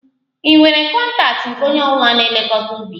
Ị nwere kọntaktị nke onye ọ bụla na-elekọta ubi?